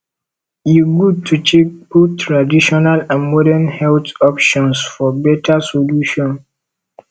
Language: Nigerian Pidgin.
e good to check both traditional and modern health options for beta solution